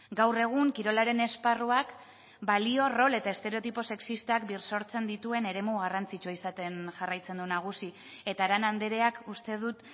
gaur egun kirolaren esparruak balio rol eta estereotipo sexistak birsortzen dituen eremu garrantzitsua izaten jarraitzen du nagusi eta arana andreak uste dut